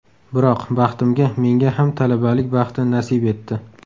Biroq, baxtimga menga ham talabalik baxti nasib etdi.